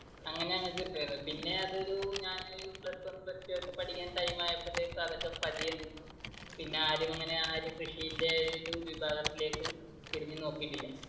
അങ്ങനെ ഞങ്ങൾക്ക് കിട്ടുമായിരുന്നു. പിന്നെ അതൊരു ഞാൻ plus one plus two ഒക്കെ പഠിക്കാൻ time ആയപ്പൊഴത്തേക്കും അത് പതിയെ നിന്നു. പിന്നെ ആരും അങ്ങനെ ആ ഒരു കൃഷിന്റെ ഒരു വിഭാഗത്തിലേക്ക് തിരിഞ്ഞു നോക്കിയിട്ടില്ല.